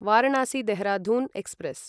Varanasi Dehradun express